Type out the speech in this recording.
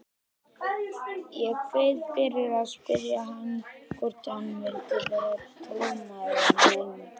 Ég kveið fyrir að spyrja hann hvort hann vildi vera trúnaðarmaðurinn minn.